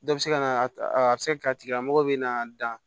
Dɔ bɛ se ka na a bɛ se ka kɛ a tigilamɔgɔ bɛ na dan